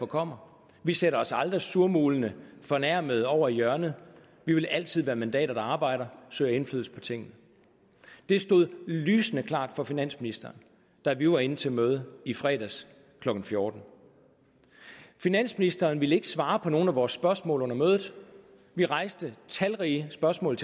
kommer vi sætter os aldrig surmulende og fornærmede over i hjørnet vi vil altid være mandater der arbejder og søger indflydelse på tingene det stod lysende klart for finansministeren da vi var inde til mødet i fredags klokken fjorten finansministeren ville ikke svare på nogen af vores spørgsmål under mødet vi rejste talrige spørgsmål